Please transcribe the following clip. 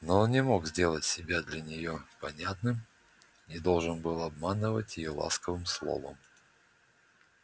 но он не мог сделать себя для неё понятным и должен был обманывать её ласковым словом